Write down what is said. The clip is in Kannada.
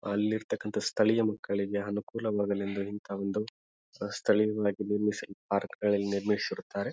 ಎಲ್ಲಿರ್ತಕನಂತಹ ಸ್ಥಳೀಯ ಮಕ್ಕಳಿಗೆ ಅನುಕೂಲವಾಗಲೆಂದು ಇಂತಹ ಒಂದು ಸ್ಥಳೀಯವಾಗಿ ನಿರ್ಮಿಸಿ ಪಾರ್ಕ್ ಅನ್ನು ನಿರ್ಮಿಸಿರುತ್ತಾರೆ.